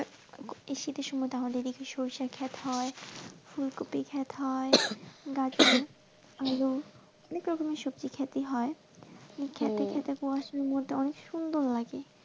এই শীতের সময় তো আমাদের এই দিকে সরষে ক্ষেত হয় ফুলকপি ক্ষেত হয় গাজর এর আলু অনেক রকমের সবজি ক্ষেত হয় ওই ক্ষেতে ক্ষেতে কুয়াশার মধ্যে খুব সুন্দর লাগে।